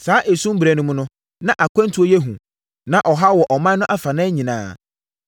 Saa esum berɛ no mu, na akwantuo yɛ hu. Na ɔhaw wɔ ɔman no afanan nyinaa.